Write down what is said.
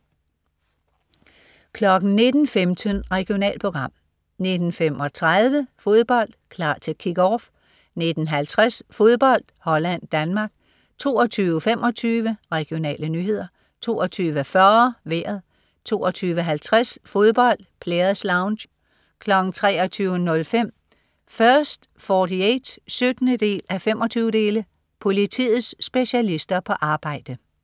19.15 Regionalprogram 19.35 Fodbold: Klar til Kick-Off 19.50 Fodbold: Holland-Danmark 22.25 Regionale nyheder 22.40 Vejret 22.50 Fodbold: Players Lounge 23.05 First 48 17:25. Politiets specialister på arbejde